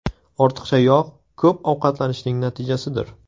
Ortiqcha yog‘ ko‘p ovqatlanishning natijasidir.